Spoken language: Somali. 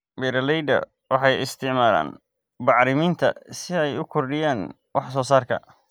Beeraleydu waxay isticmaalaan bacriminta si ay u kordhiyaan wax-soosaarka.